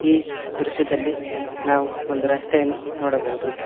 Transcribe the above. ಈ ದೃಶ್ಯದಲ್ಲಿ ನಾವು ಒಂದು ರಸ್ತೆಯನ್ನು ನೋಡಬಹುದು.